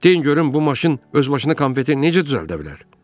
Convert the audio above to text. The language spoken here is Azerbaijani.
Deyin görüm bu maşın öz başına konfeti necə düzəldə bilər?